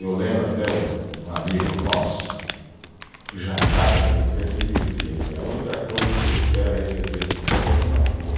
Eu lembro até o, um amigo nosso, o Jangada, que ele sempre dizia que a única coisa que você espera receber do samba é desaforo.